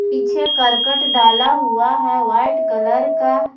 पीछे करकट डाला हुआ है व्हाइट कलर का ।